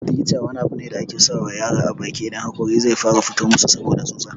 "Theeter" wani abu ne da ake saka wa yara a baki idan haƙori zai fara fito musu saboda susa.